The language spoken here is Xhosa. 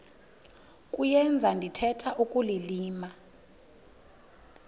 kuyenza ndithetha ukulilima